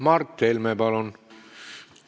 Mart Helme, palun!